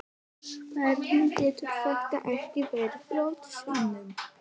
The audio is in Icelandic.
Hvernig getur þetta ekki verið brottvísun?